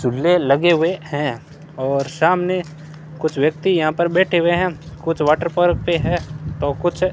चूल्हे लगे हुए हैं और सामने कुछ व्यक्ति यहां पर बैठे हुए हैं कुछ वाटर पार्क पे है तो कुछ --